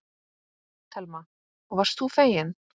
Telma: Og varst þú feginn?